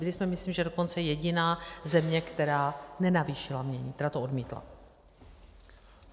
Byli jsme, myslím, že dokonce jediná země, která nenavýšila jmění, která to odmítla.